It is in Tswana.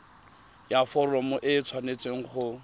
ya foromo e tshwanetse go